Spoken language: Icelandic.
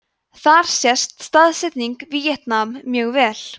þar sést staðsetning víetnam mjög vel